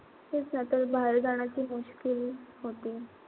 तेच ना ते बाहेर जाण्याची होती.